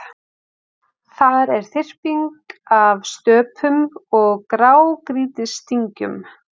Þar er þyrping af stöpum og grágrýtisdyngjum.